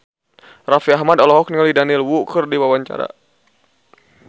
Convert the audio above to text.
Raffi Ahmad olohok ningali Daniel Wu keur diwawancara